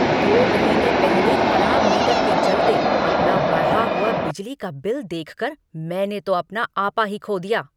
दो महीने पहले खराब मीटर के चलते अपना बढ़ा हुआ बिजली का बिल देखकर मैंने तो अपना आपा ही खो दिया।